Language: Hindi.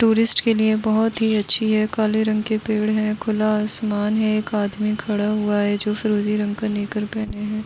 टूरिस्ट के लिए बोहोत ही अच्छी है। काले रंग के पेड़ है खुला आसमान है। एक आदमी खड़ा हुआ है जो फिरोजी रंग का नेकर पहने है।